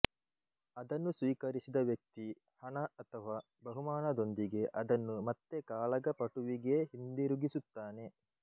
ಅದನ್ನು ಸ್ವೀಕರಿಸಿದ ವ್ಯಕ್ತಿ ಹಣ ಅಥವಾ ಬಹುಮಾನದೊಂದಿಗೆ ಅದನ್ನು ಮತ್ತೆ ಕಾಳಗಪಟುವಿಗೇ ಹಿಂದಿರುಗಿಸುತ್ತಾನೆ